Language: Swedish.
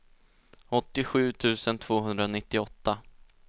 åttiosju tusen tvåhundranittioåtta